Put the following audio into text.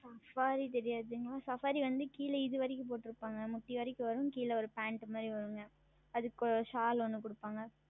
Saffari தெரியாதுங்களா Saffari வந்து கிழே இது வரைக்கும் போட்டு இருப்பார்கள் முட்டி வரைக்கும் வரும் கிழே ஓர் Pant மாதிரி வரும் அதற்கு Shall ஓன்று கொடுப்பார்கள்